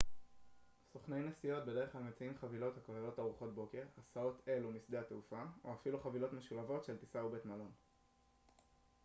סוכני נסיעות בדרך כלל מציעים חבילות הכוללות ארוחת בוקר הסעות אל ומשדה התעופה או אפילו חבילות משולבות של טיסה ובית מלון